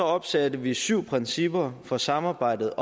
opsatte vi syv principper for samarbejdet